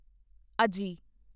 ਅਜੀ